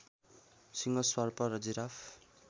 सिंह सर्प र जिराफ